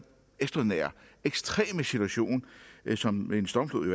ekstraordinære ekstreme situation som en stormflod